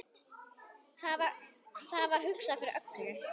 Það var hugsað fyrir öllu.